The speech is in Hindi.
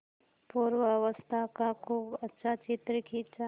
पूर्वावस्था का खूब अच्छा चित्र खींचा